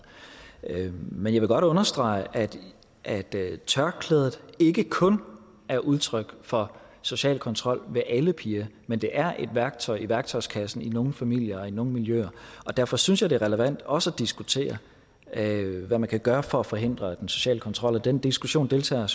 men jeg vil godt understrege at tørklædet ikke kun er udtryk for social kontrol ved alle piger men det er et værktøj i værktøjskassen i nogle familier og i nogle miljøer og derfor synes jeg det er relevant også at diskutere hvad man kan gøre for at forhindre den sociale kontrol og den diskussion deltager